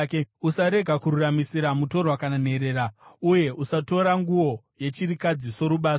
Usarega kururamisira mutorwa kana nherera, uye usatora nguo yechirikadzi sorubatso.